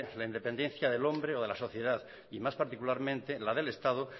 la independencia del hombre o de la sociedad y más particularmente la del estado